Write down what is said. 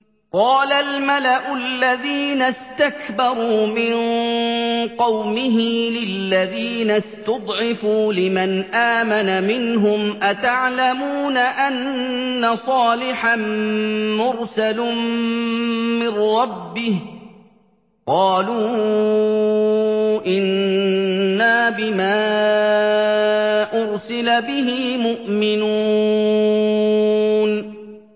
قَالَ الْمَلَأُ الَّذِينَ اسْتَكْبَرُوا مِن قَوْمِهِ لِلَّذِينَ اسْتُضْعِفُوا لِمَنْ آمَنَ مِنْهُمْ أَتَعْلَمُونَ أَنَّ صَالِحًا مُّرْسَلٌ مِّن رَّبِّهِ ۚ قَالُوا إِنَّا بِمَا أُرْسِلَ بِهِ مُؤْمِنُونَ